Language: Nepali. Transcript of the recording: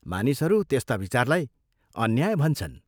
मानिसहरू त्यस्ता विचारलाई अन्याय भन्छन्।